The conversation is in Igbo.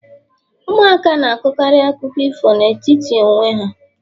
Ụmụaka na-akọkarị akụkọ ifo n'etiti onwe ha